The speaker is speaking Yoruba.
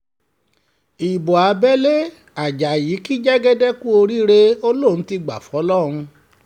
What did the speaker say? ibo abẹ́lé ajayi kí jẹ́gẹ́dẹ́ kú oríire ó lóun ti gbá fọlọ́run